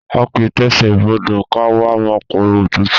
A kìí tẹsẹ̀ bodò ká wá máa pariwo òtútù!